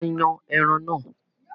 A máa yan ẹran náà.